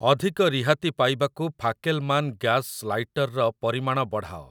ଅଧିକ ରିହାତି ପାଇବାକୁ ଫାକେଲମାନ ଗ୍ୟାସ ଲାଇଟର ର ପରିମାଣ ବଢ଼ାଅ ।